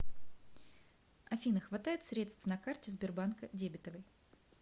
афина хватает средств на карте сбербанка дебетовой